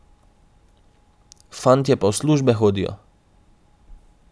Fantje pa v službe hodijo.